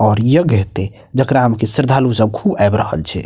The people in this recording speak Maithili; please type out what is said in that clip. और यज्ञ हेते जेकरा में कि श्रद्धालु सब खूब आब रहल छै।